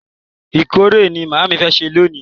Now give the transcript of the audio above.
Ìkọ́kọrẹ́ ni màámi fẹ́ sè lálẹ́ yìí.